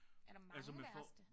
Er der mange værste?